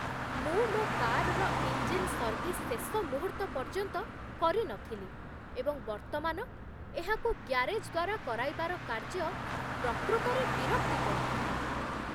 ମୁଁ ମୋ କାର୍ର ଇଞ୍ଜିନ୍ ସର୍ଭିସ୍ ଶେଷ ମୁହୂର୍ତ୍ତ ପର୍ଯ୍ୟନ୍ତ କରିନଥିଲି, ଏବଂ ବର୍ତ୍ତମାନ ଏହାକୁ ଗ୍ୟାରେଜ୍ ଦ୍ୱାରା କରାଇବାର କାର୍ଯ୍ୟ ପ୍ରକୃତରେ ବିରକ୍ତିକର